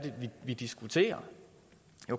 vi diskuterer